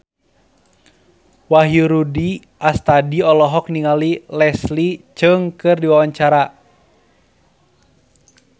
Wahyu Rudi Astadi olohok ningali Leslie Cheung keur diwawancara